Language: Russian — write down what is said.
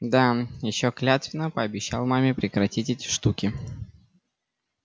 да ещё клятвенно пообещал маме прекратить эти штуки